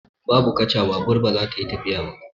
In babu kaca, babur ba zai iya tafiya ba.